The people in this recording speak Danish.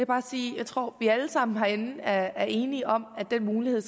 bare sige at jeg tror vi alle sammen herinde er enige om at den mulighed